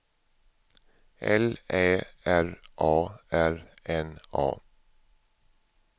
L Ä R A R N A